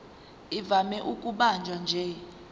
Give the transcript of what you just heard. ivame ukubanjwa nje